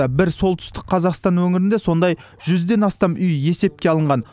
бір солтүстік қазақстан өңірінде сондай жүзден астам үй есепке алынған